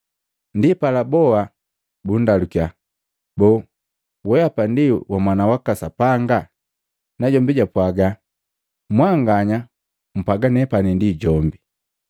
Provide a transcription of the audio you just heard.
Ndipala boa bundalukya, “Boo, weapa ndi wa Mwana waka Sapanga?” Najombi japwaaga, “Mwanganya mpwaga nepani ndi jombi.”